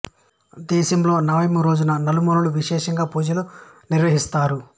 దేశంలో నవమి రోజున నలు మూలల విషేషంగా పూజలు నిర్వహిస్తారు